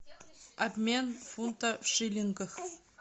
обмен фунта в шиллингах